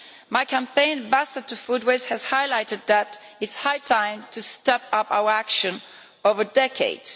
My campaign Basta to Food Waste' has highlighted that it is high time to step up our action over decades.